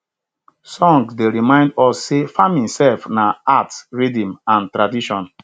songs dey remind us say farming sef na art rhythm and tradition